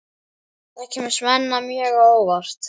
Það kemur Svenna mjög á óvart.